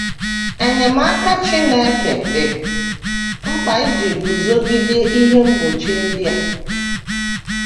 Enyemaka Chineke dị mkpa iji guzogide ihe mgbochi ndị a.